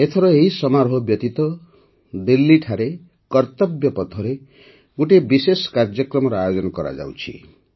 ଏଥର ଏହି ସମାରୋହ ବ୍ୟତୀତ ଦିଲ୍ଲୀଠାରେ କର୍ତ୍ତବ୍ୟପଥରେ ଗୋଟିଏ ବିଶେଷ କାର୍ଯ୍ୟକ୍ରମର ଆୟୋଜନ କରାଯାଉଛି